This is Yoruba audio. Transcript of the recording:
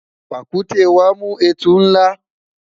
pàkúté wa mu etu nla